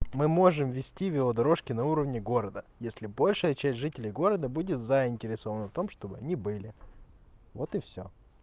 мы можем вести велодорожки на уровне города если большая часть жителей города будет заинтересована в том чтобы они были вот и всё